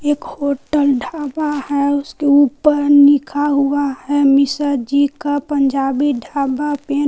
एक होटल ढाबा है उसके ऊपर लिखा हुआ है मिश्रा जी का पंजाबी ढाबा।